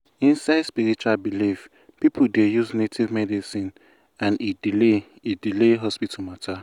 inside spiritual belief people dey use native medicine and e delay e delay hospital matter.